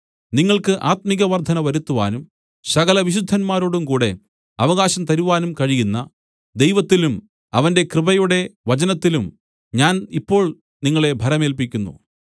നിങ്ങൾക്ക് ആത്മികവർദ്ധന വരുത്തുവാനും സകല വിശുദ്ധന്മാരോടുംകൂടെ അവകാശം തരുവാനും കഴിയുന്ന ദൈവത്തിലും അവന്റെ കൃപയുടെ വചനത്തിലും ഞാൻ ഇപ്പോൾ നിങ്ങളെ ഭരമേല്പിക്കുന്നു